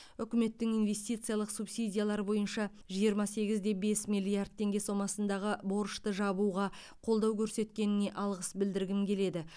үкіметтің инвестициялық субсидиялар бойынша жиырма сегіз де бес миллиард теңге сомасындағы борышты жабуға қолдау көрсеткеніне алғыс білдіргім келеді